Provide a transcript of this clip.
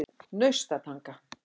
Naustatanga